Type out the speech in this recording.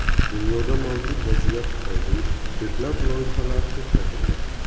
Dunyodagi mavjud vaziyat tufayli ko‘plab loyihalar to‘xtatildi.